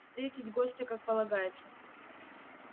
встретить гостя как полагается